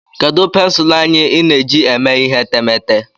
Kedu pensụl anya ị na-eji eme ihe etemeete?